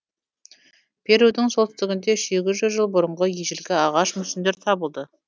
перудің солтүстігінде сегіз жүз жыл бұрынғы ежелгі ағаш мүсіндер табылды